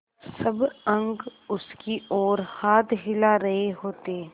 सब अंक उसकी ओर हाथ हिला रहे होते